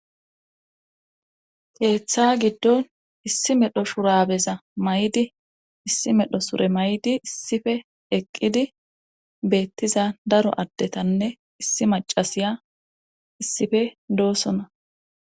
Keeththa giddon issi medho shurabeza may'di issi medho sure may'di issife eqqidi beettiza daro addetanne issi macasiya issife doosona